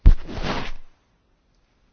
I fully agree with your view.